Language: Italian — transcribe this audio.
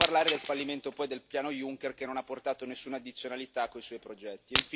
Per non parlare poi del fallimento del piano Juncker, che non ha portato nessuna addizionalità con i suoi progetti.